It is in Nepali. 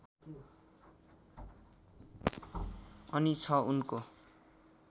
अनि छ उनको